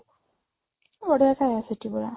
ବଢିଆ ଖାଇବା ସେଠି ପୁରା